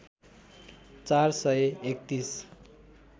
४ सय ३१